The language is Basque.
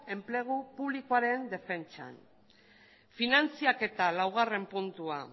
enplegu publikoaren defentsan finantziaketa laugarren puntua